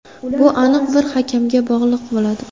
Bu aniq bir hakamga bog‘liq bo‘ladi.